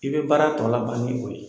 I bɛ baara tɔ laban ni o ye.